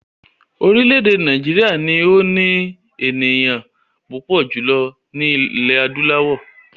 Orílẹ̀èdè Nàìjíríà ni ó ní ènìyàn púpọ̀ jùlọ ní ilẹ̀ adúláwọ̀